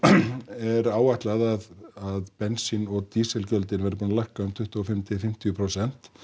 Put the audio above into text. er áætlað að bensín og verði búin að lækka um tuttugu og fimm til fimmtíu prósent